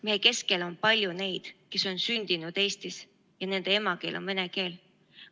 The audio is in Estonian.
Meie keskel on palju neid, kes on sündinud Eestis ja kelle emakeel on vene keel.